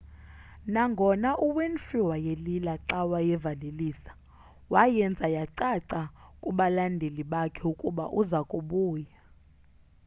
nangona uwinfrey wayelila xa wayevalelisa wayenza yacaca kubalandeli bakhe ukuba uza kubuya